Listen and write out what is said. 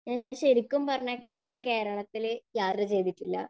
എനിക്ക് ശരിക്കും പറഞ്ഞാൽ കേരളത്തിൽ യാത്ര ചെയ്തിട്ടില്ല